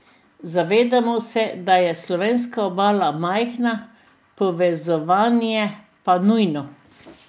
Zavedamo se, da je slovenska obala majhna, povezovanje pa nujno.